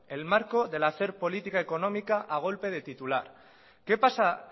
el marco del hacer política económica a golpe de titular qué pasa